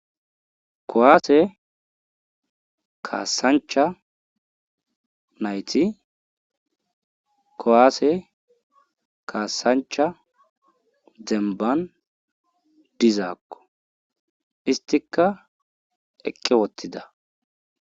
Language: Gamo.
Kuwase kasancha nayti kuwase kasancha demban dizko , istika eqi utida .